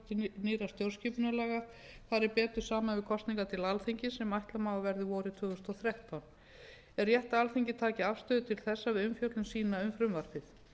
nýrra stjórnarskipunarlaga fari betur saman við kosningar til alþingis sem ætla má að verði vorið tvö þúsund og þrettán er rétt að alþingi taki afstöðu til þessa við umfjöllun sína um frumvarpið